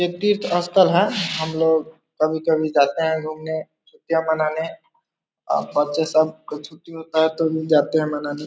एक तीर्थ अस्थल है हम लोग कभी-कभी जाते है घूमने छुटियाँ मनाने और बच्चे सब का छुट्टी होता है तो हम जाते हैं मनाने |